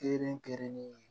Kelen kelenni ye